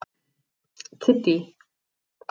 Kiddý